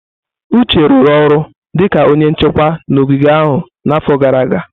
Uche rụrụ ọrụ dịka onye nchekwa n'ogige ahụ n'afọ gara aga.